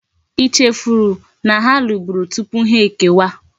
I chefu ola na ha luburu tupu ha eke wa?